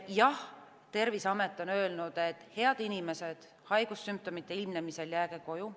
Jah, Terviseamet on öelnud, et, head inimesed, haigussümptomite ilmnemisel jääge koju.